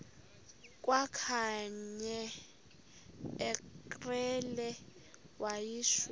kwakanye ngekrele wayishu